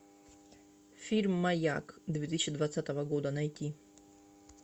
фильм маяк две тысячи двадцатого года найти